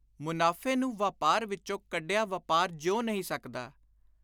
ਮਨਾਫ਼ੇ ਨੂੰ ਵਾਪਾਰ ਵਿਚੋਂ ਕੱਢਿਆਂ ਵਾਪਾਰ ਜਿਉ ਨਹੀਂ ਸਕਦਾ।